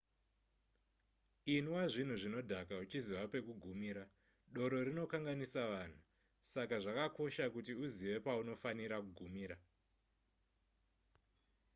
inwa zvinhu zvinodhaka uchiziva pekugumira doro rinokanganisa vanhu saka zvakakosha kuti uzive paunofanira kugumira